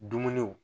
Dumuniw